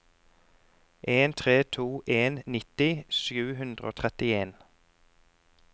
en tre to en nitti sju hundre og trettien